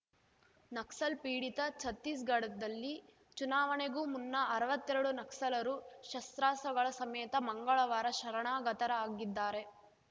ನಕ್ಸಲ್‌ ಪೀಡಿತ ಛತ್ತೀಸ್‌ಗಡ್ ದಲ್ಲಿ ಚುನಾವಣೆಗೂ ಮುನ್ನ ಅರ್ವತ್ತೆರಡು ನಕ್ಸಲರು ಶಸ್ತ್ರಾಸ್ತ್ರಗಳ ಸಮೇತ ಮಂಗಳವಾರ ಶರಣಾಗತರಾಗಿದ್ದಾರೆ